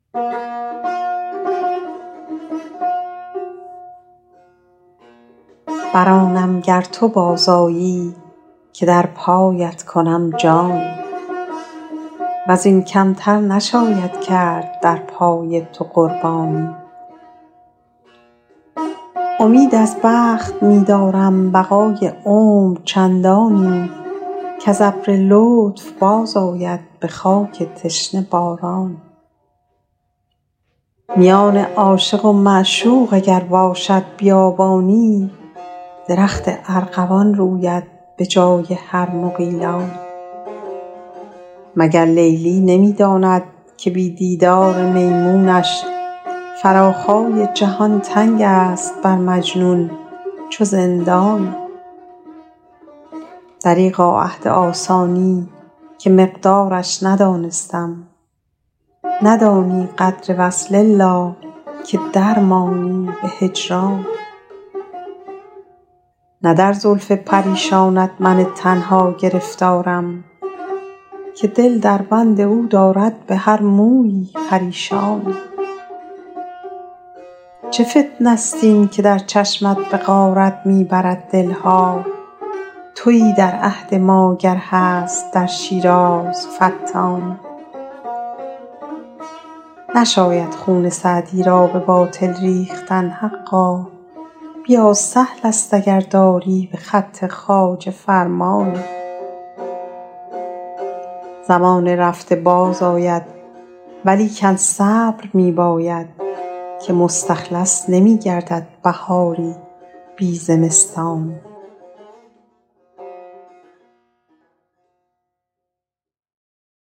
بر آنم گر تو باز آیی که در پایت کنم جانی و زین کم تر نشاید کرد در پای تو قربانی امید از بخت می دارم بقای عمر چندانی کز ابر لطف باز آید به خاک تشنه بارانی میان عاشق و معشوق اگر باشد بیابانی درخت ارغوان روید به جای هر مغیلانی مگر لیلی نمی داند که بی دیدار میمونش فراخای جهان تنگ است بر مجنون چو زندانی دریغا عهد آسانی که مقدارش ندانستم ندانی قدر وصل الا که در مانی به هجرانی نه در زلف پریشانت من تنها گرفتارم که دل در بند او دارد به هر مویی پریشانی چه فتنه ست این که در چشمت به غارت می برد دل ها تویی در عهد ما گر هست در شیراز فتانی نشاید خون سعدی را به باطل ریختن حقا بیا سهل است اگر داری به خط خواجه فرمانی زمان رفته باز آید ولیکن صبر می باید که مستخلص نمی گردد بهاری بی زمستانی